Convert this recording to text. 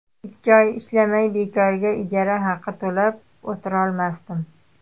Ikki oy ishlamay, bekorga ijara haqi to‘lab o‘tirolmasdim.